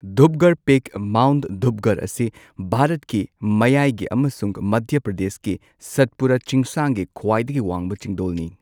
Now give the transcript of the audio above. Dhupgarh peak mount Dhupgarh ꯑꯁꯤ ꯚꯥꯔꯠꯀꯤ ꯃꯌꯥꯏꯒꯤ ꯑꯃꯁꯨꯡ ꯃꯙ꯭ꯌ ꯄ꯭ꯔꯗꯦꯁꯀꯤ ꯁꯠꯄꯨꯔꯥ ꯆꯤꯡꯁꯥꯡꯒꯤ ꯈ꯭ꯋꯥꯏꯗꯒꯤ ꯋꯥꯡꯕ ꯆꯤꯡꯗꯣꯜꯅꯤ꯫